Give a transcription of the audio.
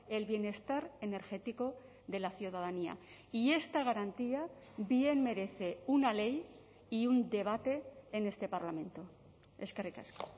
el bienestar energético de la ciudadanía y esta garantía bien merece una ley y un debate en este parlamento eskerrik asko